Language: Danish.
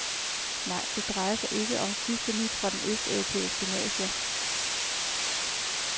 Nej, det drejer sig ikke om sidste nyt fra den østeuropæiske mafia.